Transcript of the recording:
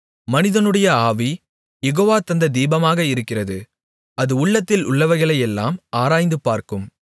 மனிதனுடைய ஆவி யெகோவா தந்த தீபமாக இருக்கிறது அது உள்ளத்தில் உள்ளவைகளையெல்லாம் ஆராய்ந்துபார்க்கும்